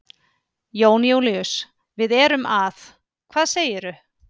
Jón Júlíus, við erum að. hvað segirðu?